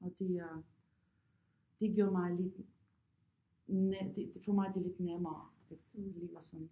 Og det er det gjorde mig lidt det det tog mig altid lidt nærmere at det lige var sådan